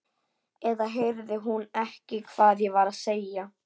Eða heyrði hún ekki hvað ég var að segja?